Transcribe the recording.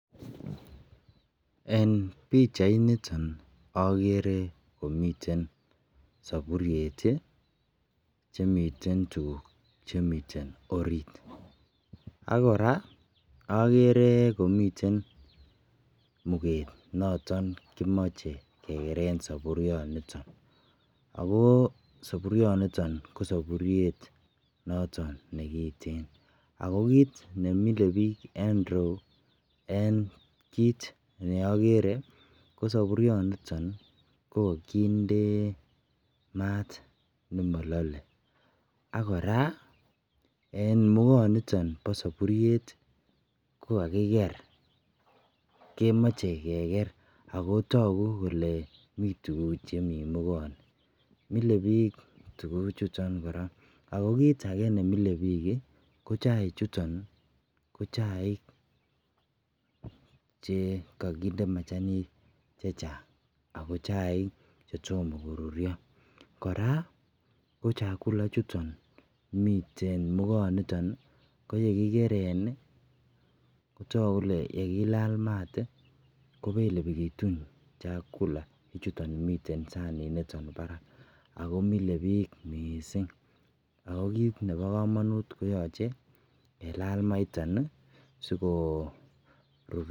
En bichait niton agere komiten saburiet chemiten tuguk Chemiten orit akoraa agere komiten muket notonnkimache kekeren saburioniton ako saburiot niton kosaburiet nemingin ako kit nemile bik en iroyu ko saburioniton kokande mat noton malalae akoraa en mukanitin ba saburiet kokakiger kemache kegeragotagu Kole miten tuguk Chemiten mukaniton Mike bik tuguk chuton akokit age nemilebik kochaik chuton kochaik chekikindee machanik chechang ako chaik chetomo korurio koraa ko chakula ichuton miten mukaniton koyekikuren Kotaku Kole yekilala mat kobelebitun chaik ako chakula chuton miten saburiet ako mile bik mising akokit Nebo kamanut koyache kelala maiton sikorurio